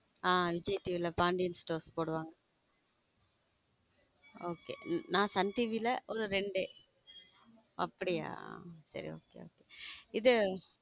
ஹம் Vijay TV ல Pandian stores போடுவாங்க okay நான் சன் TV ல ரெண்டு அப்படியா சர okay okay இது.